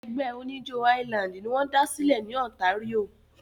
Ẹgbẹ́ oníjó highland wọ́n da sílẹ̀ Ontario.